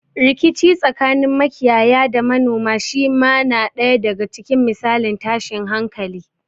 Rikici tsakanin makiyaya da manoma shi ma na ɗaya daga cikin misalan tashin hankali.